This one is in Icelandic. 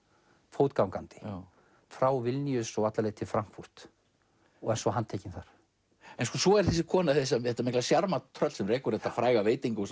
fótgangandi frá Vilnius og alla leið til Frankfurt er svo handtekin þar svo er þessi kona þetta mikla sjarmatröll sem rekur þetta fræga veitingahús